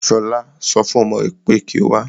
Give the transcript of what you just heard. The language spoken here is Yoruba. Ṣọlá so fún ọmọ rè pé kí o wá.